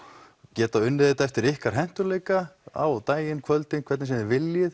geta unnið þetta eftir ykkar hentugleika á daginn kvöldin hvernig sem þið viljið